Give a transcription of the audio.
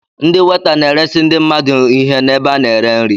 Ndị weta na-eresi ndị mmadụ ihe n'ebe a na-ere nri.